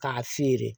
K'a feere